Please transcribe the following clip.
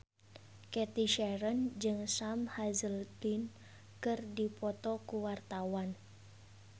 Cathy Sharon jeung Sam Hazeldine keur dipoto ku wartawan